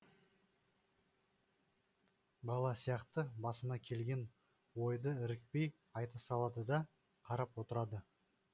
бала сияқты басына келген ойды ірікпей айта салады да қарап отырады